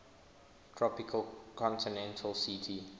tropical continental ct